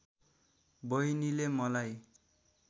बहिनीले मलाई